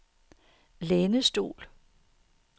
lænestol